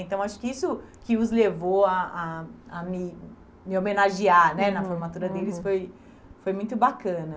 Então, acho que isso que os levou a a a me me homenagear né na formatura deles foi foi muito bacana.